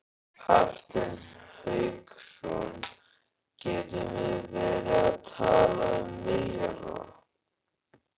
Hafsteinn Hauksson: Gætum við verið að tala um milljarða?